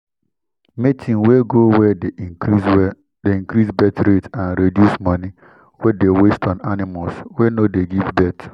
mating wey go well dey increase well, dey increase birth rate and reduce money wey dey waste on animals wey no dey give birth.